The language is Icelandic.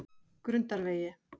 Grundarvegi